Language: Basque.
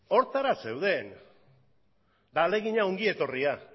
horretara zeuden eta ahalegina ongi etorria